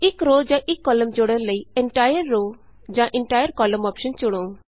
ਇਕ ਰੋਅ ਜਾਂ ਇਕ ਕਾਲਮ ਜੋੜਨ ਲਈ ਇੰਟਾਇਰ ਰੋਅ ਜਾਂ ਇੰਟਾਇਰ ਕੌਲਮ ਅੋਪਸ਼ਨ ਚੁਣੋ